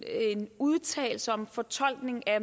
udtalelse om fortolkningen af